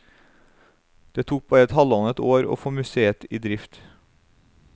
Det tok bare halvannet år å få museet i drift.